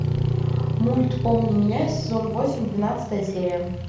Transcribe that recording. мульт помни меня сезон восемь двенадцатая серия